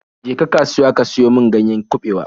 Je ka kasuwa ka siyo min ganyen kabewa!